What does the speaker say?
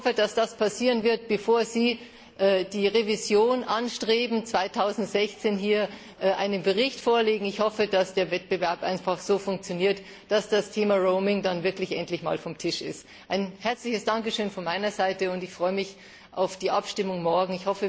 Ich hoffe, dass das passieren wird, bevor die Revision erfolgt und Sie 2016 hier einen Bericht vorlegen. Ich hoffe, dass der Wettbewerb einfach so funktioniert, dass das Thema Roaming dann wirklich endlich mal vom Tisch ist. Ein herzliches Dankeschön von meiner Seite, und ich freue mich auf die Abstimmung morgen.